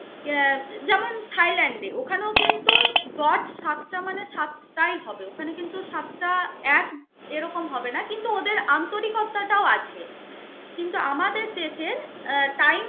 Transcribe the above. আহ যেমন থাইল্যান্ডে ওখানেও কিন্তু সাতটা মানে সাতটাই হবে, ওখানে কিন্তু সাতটা এক এরকম হবে না. কিন্তু ওদের আন্তরিকতাটাও আছে. কিন্তু আমাদের দেশের আহ time